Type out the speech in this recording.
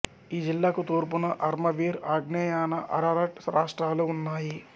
ఈ జిల్లాకు తూర్పున అర్మవీర్ అగ్నేయాన అరరట్ రాష్ట్రాలు ఉన్నాయి